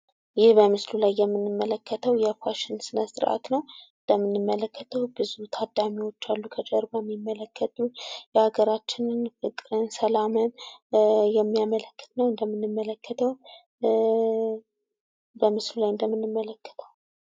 ይህ በምስሉ ላይ የምንመለከተው የፋሽን ስነ-ስርዓት ነው። እንደምንመለከተው ብዙ ታዳሚዎች አሉ። ከጀርባ የሚመለከቱ የሀገርችንም ልብስ የሚያመለክት ነው እንደምንመለከተው።